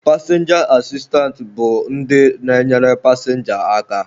Pasịnja asistance bụ ndị na-enyere pasịnja aka.